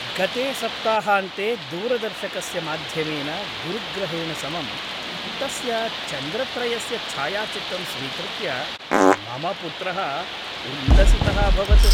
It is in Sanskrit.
गते सप्ताहान्ते दूरदर्शकस्य माध्यमेन गुरुग्रहेण समं तस्य चन्द्रत्रयस्य च्छायाचित्रं स्वीकृत्य मम पुत्रः उल्लसितः अभवत्।